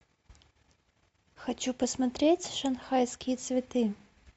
хочу посмотреть шанхайские цветы